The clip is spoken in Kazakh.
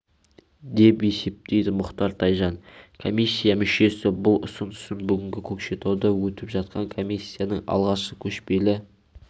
деп есептейді мұхтар тайжан комиссия мүшесі бұл ұсынысын бүгінгі көкшетауда өтіп жатқан комиссияның алғашқы көшпелі